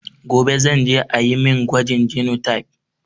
Gobe zan je ayi mun gwajin genotype